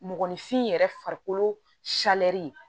Mɔgɔninfin yɛrɛ farikolo